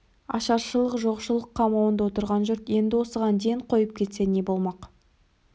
ашаршылық жоқшылық қамауында отырған жұрт енді осыған ден қойып кетсе не болмақ